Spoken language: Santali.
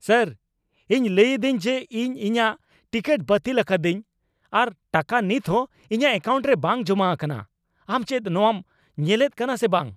ᱥᱮᱹᱨ ! ᱤᱧ ᱞᱟᱹᱭ ᱤᱫᱟᱹᱧ ᱡᱮ ᱤᱧ ᱤᱧᱟᱜ ᱴᱤᱠᱤᱴ ᱵᱟᱹᱛᱤᱞ ᱟᱠᱟᱫᱤᱧ ᱟᱨ ᱴᱟᱠᱟ ᱱᱤᱛᱦᱚᱸ ᱤᱧᱟᱜ ᱮᱹᱠᱟᱣᱩᱱᱴ ᱨᱮ ᱵᱟᱝ ᱡᱚᱢᱟ ᱟᱠᱟᱱᱟ ᱾ ᱟᱢ ᱪᱮᱫ ᱱᱚᱶᱟᱢ ᱧᱮᱞᱮᱫ ᱠᱟᱱᱟ ᱥᱮ ᱵᱟᱝ ?